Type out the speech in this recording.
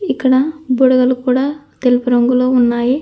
ఇక్కడ బుడగలు కూడా తెలుపు రంగులో ఉన్నాయి.